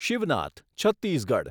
Shivnath Chhattisgarh